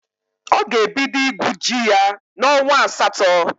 Ọ ga-ebido igwu ji ya n'onwa asatọ.